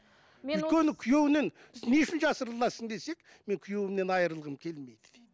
өйткені күйеуінен не үшін жасырыласың десек мен күйеуімнен айырылғым келмейді дейді